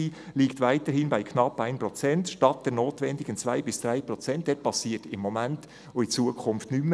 » Es geht hier um Gebäude, es ginge um das Energiegesetz, und hier passiert im Moment und in Zukunft nichts mehr.